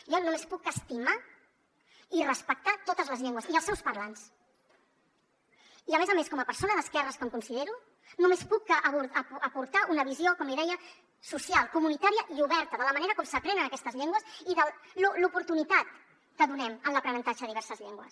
jo només puc estimar i respectar totes les llengües i els seus parlants i a més a més com a persona d’esquerres que em considero només puc que aportar una visió com li deia social comunitària i oberta de la manera com s’aprenen aquestes llengües i de l’oportunitat que donem en l’aprenentatge de diverses llengües